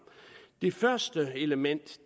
det første element